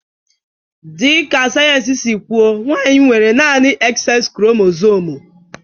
Dịka sayensị si kwu, nwanyị nwere naanị XX kromosomu